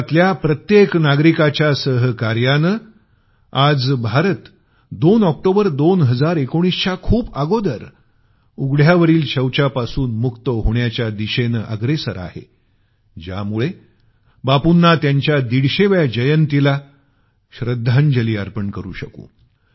भारतातल्या प्रत्येक जणाच्या सहकार्यानं आज भारत 2 ऑक्टोबर 2019 च्या खूप अगोदर उघड्यावरील शौचापासून मुक्त होण्याच्या दिशेनं अग्रेसर आहे ज्यामुळे बापुंना त्यांच्या 150 व्या जयंतीला श्रद्धांजली अर्पण करू शकू